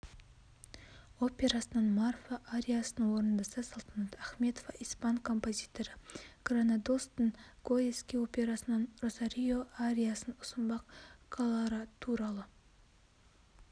операсынан марфа ариясын орындаса салтанат ахметова испан композиторы гранадостың гойески операсынан росарио ариясын ұсынбақ колоратуралы